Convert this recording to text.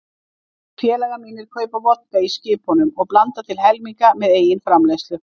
Tveir félagar mínir kaupa vodka í skipunum og blanda til helminga með eigin framleiðslu.